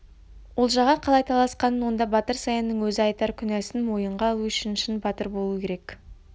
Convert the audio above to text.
олжаға қалай таласқанын онда батыр саянның өзі айтар күнәсін мойынға алу үшін шын батыр болу керек